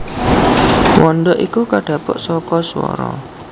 Wanda iku kadhapuk saka swara